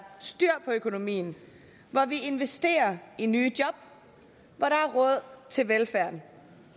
styr på økonomien hvor vi investerer i nye job og til velfærd